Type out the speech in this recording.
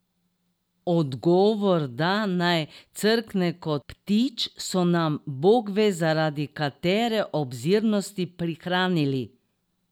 Odgovor, da naj crkne kot ptič, so nam bogve zaradi katere obzirnosti prihranili.